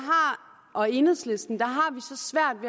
og enhedslisten